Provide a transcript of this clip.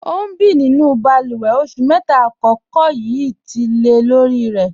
Ọ n bí nínú bálúwè, ọṣù mẹ́ta àkọ̀kọ̀ yíí tì lẹ̀ lorì rẹ̀.